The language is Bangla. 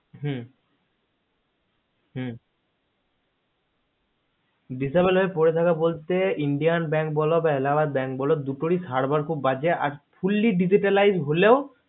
হুহু disable হয়ে পরে থাকা বলতে indian bank বলো বা Allahabad bank বলো দুটোরই server খুব বাজে আর fully digitalised হলেও